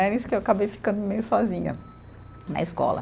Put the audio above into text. É isso que eu acabei ficando meio sozinha na escola.